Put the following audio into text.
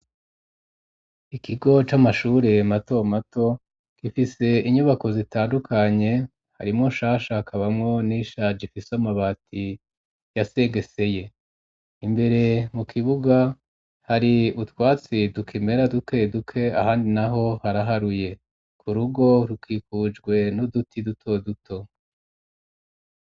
Ikigo c'amashure matomato gifise inyubako zitandukanye harimwo nshasha hakabamwo n'ishayishaje ifise amabati yasegeseye. Imbere mu kibuga hari utwatsi tukimera duke duke ahandi naho haraharuye ku rugo rukikujwe n'uduti dutoduto.